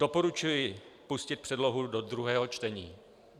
Doporučuji pustit předlohu do druhého čtení.